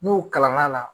N'u kalanna